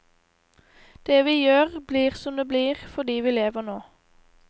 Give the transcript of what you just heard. Det vi gjør blir som det blir fordi vi lever nå.